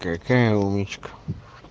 какая умничка